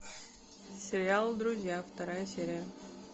сериал друзья вторая серия